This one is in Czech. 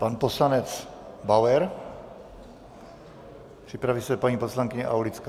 Pan poslanec Bauer, připraví se paní poslankyně Aulická.